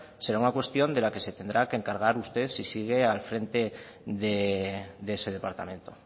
será una cuestión de la que se tendrá que encargar usted si sigue al frente de ese departamento